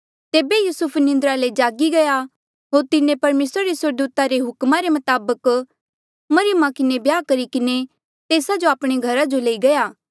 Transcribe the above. तेबे युसुफ निंद्रा ले जागी गया होर तिन्हें परमेसरा रे स्वर्गदूता रे हुक्मा रे मताबक मरियमा किन्हें ब्याह करी किन्हें तेस्सा जो आपणे घरा जो लई गया